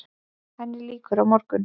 Henni lýkur á morgun.